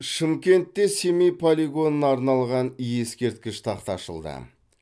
шымкентте семей полигонына арналған ескерткіш тақта ашылды